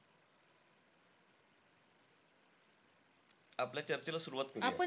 आपल्या चर्चेला सुरुवात करूया